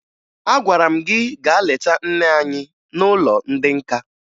Agwara m gị gaa leta nne anyi n'ụlọ ndị nka!